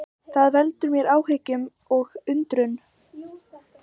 Það veldur mér áhyggjum og undrun